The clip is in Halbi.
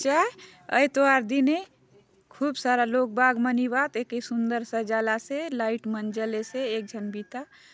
चा एतवार दिने खूब सारा लोग बाग मन इवात एके सुंदर सजाल आसे लाईट मन जले से एक झन बिता-